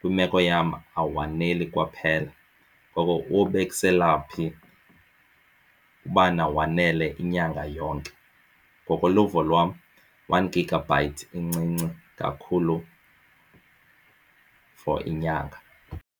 kwiimeko yam awaneli kwaphela. Ngoko wobekisela phi ubana wanele inyanga yonke. Ngokoluvo lwam one gigabyte incinci kakhulu for inyanga.